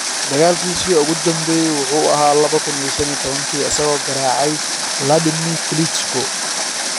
Dagaalkiisii ​​ugu dambeeyay wuxuu ahaa 2015 isagoo garaacay Wladimir Klitschko.